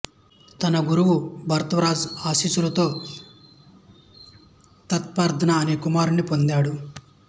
తన గురువు భరద్వాజ ఆశీస్సులతో ప్రతార్దన అనే కుమారుడిని పొందాడు